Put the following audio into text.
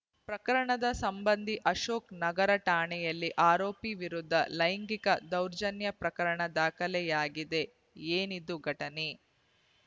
ಪ್ರಕರಣದ ಸಂಬಂಧಿ ಅಶೋಕ್‌ ನಗರ ಠಾಣೆಯಲ್ಲಿ ಆರೋಪಿ ವಿರುದ್ಧ ಲೈಂಗಿಕ ದೌರ್ಜನ್ಯ ಪ್ರಕರಣ ದಾಖಲಾಗಿದೆ ಏನಿದು ಘಟನೆ